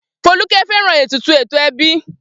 Folúkẹ́ fẹ́ràn ètùtù ẹ̀tọ́ ẹbí.